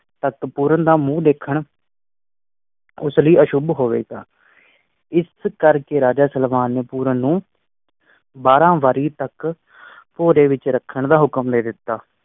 ਸਤ ਪੂਰਨ ਦਾ ਮੂੰਹ ਦੇਖਣ ਉਸ ਲਯੀ ਅਸ਼ੁਧ ਹੋਵੇਗਾ। ਇਸ ਕਰ ਕੇ ਰਾਜਾ ਸਲਵਾਨ ਨੇ ਪੂਰਨ ਨੂੰ ਬਾਰਾਂ ਵਰ੍ਹੇ ਤੱਕ ਵਿਚ ਰੱਖਣ ਦਾ ਹੁਕਮ ਦੇ ਦਿਤਾ।